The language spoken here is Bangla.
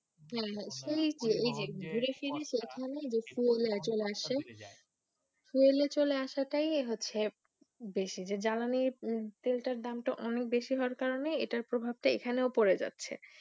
সেই সেই ঘুরেফিরে সেখানেই চলে আসে ফুয়েল এ চলে রাস্তায় বেশি, যে জ্বালানি তেল তার দাম অনেক বেশি হওয়ার কারণে তার প্রভাব টা এখানেও পরে যাচ্ছে